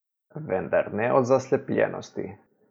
Vendar ne od zaslepljenosti.